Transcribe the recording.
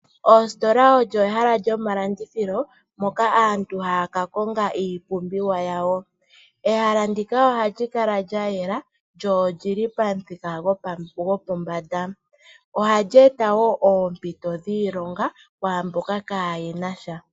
Oositola olyo ehala lyomalandithilo moka aantu haya ka Konga iipumbiwa yawo, ehala ndika ohali kala lya yela lyo olyili pamuthika gopombanda, ohali eta wo oompito dhiilonga kwaamboka kaayena sha.